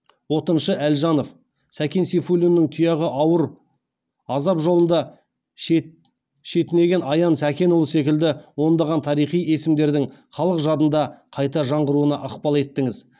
отыншы әлжанов сәкен сейфулиннің тұяғы ауыр азап жолында шетінеген аян сәкенұлы секілді ондаған тарихи есімдердің халық жадында қайта жаңғыруына ықпал еттіңіз